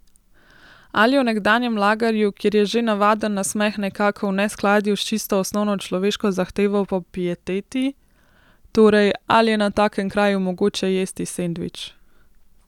Ali je v nekdanjem lagerju, kjer je že navaden nasmeh nekako v neskladju s čisto osnovno človeško zahtevo po pieteti, torej, ali je na takem kraju mogoče jesti sendvič?